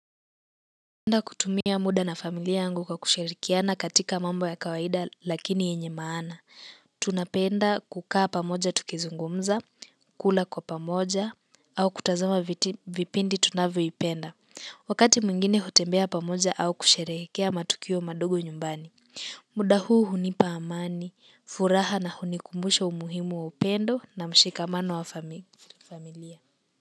Napenda kutumia mda na familia yangu kwa kushirikiana katika mambo ya kawaida lakini yenye maana. Tunapenda kukaa pamoja tukizungumza, kula kwa pamoja, au kutazama vipindi tunavyoipenda. Wakati mwingine hutembea pamoja au kusherehekea matukio madogo nyumbani. Mda huu hunipa amani, furaha na hunikumbusha umuhimu wa upendo na mshikamano wa familia.